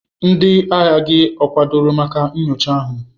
Ndị agha gị ọ kwadoro maka nyocha ahụ?